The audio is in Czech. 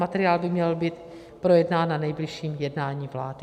Materiál by měl být projednán na nejbližším jednání vlády.